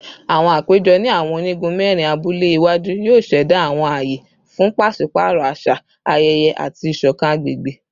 Awọn apejọ ni awọn onigun mẹrin abule iwaju yoo ṣẹda awọn aye fun paṣipaarọ aṣa, ayẹyẹ, ati iṣọkan agbegbe